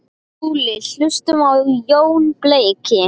SKÚLI: Hlustum á Jón beyki!